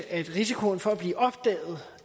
at risikoen for at blive opdaget